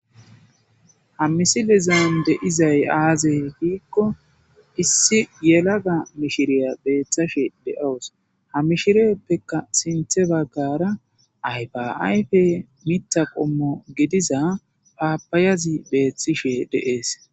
ha misilizan deizay aazey hiikko issi yelaga mishiriya beeththashe de7owus ha mishireeppeka sinthebakara aybaayfe mita qommo gidiza paabayazi beeththishe deees